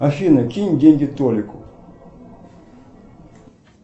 афина кинь деньги толику